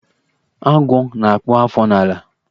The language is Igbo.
Agwọ́ na-akpụ afọ n'ala.